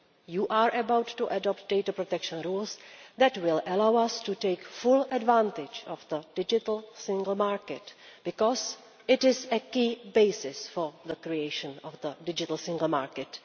You are about to adopt data protection laws that will allow us to take full advantage of the digital single market because this is a key basis for the creation of the digital single market.